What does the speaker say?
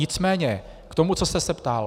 Nicméně k tomu, co jste se ptal.